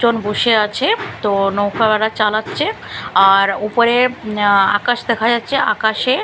বসে আছে তো নৌকো ওরা চালাচ্ছে আর ওপরে অ্যা আকাশ দেখা যাচ্ছে আকাশে--